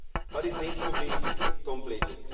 But it needs to be completed.